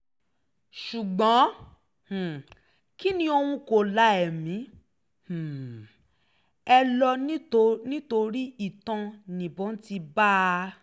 ṣùgbọ́n um kinní ọ̀hún kò la ẹ̀mí um ẹ̀ lọ nítorí itan níbọn ti bá a